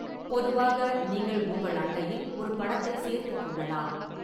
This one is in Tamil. பொதுவாக, நீங்கள் உங்கள் அட்டையில் ஒரு படத்தைச் சேர்த்துக் கொள்ளலாம்.